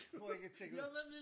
For ikke at tjekke ud